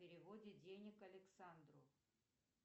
переводе денег александру